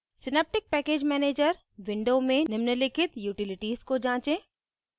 synaptic package manager window में निम्नलिखित utilities को जाँचें